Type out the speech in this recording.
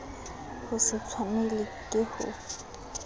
ho se tshwanelwe ke ho